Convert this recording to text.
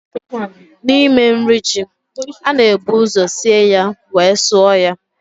N'ime nri Ji, a na-ebu ụzọ sie ya wee sụọ ya